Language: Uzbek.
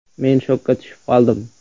Men shokka tushib qoldim.